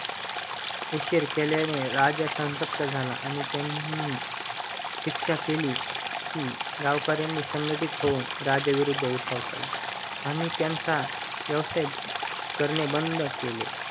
उशीर केल्याने राजा संसप्त झाला आणि त्यांनी शिक्षा केली की गावकर्‍यांनी संगटीत होऊनराजा विरुद्ध उठाव केला आणि त्यांचा व्येवसाय करणे बंद केले